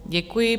Děkuji.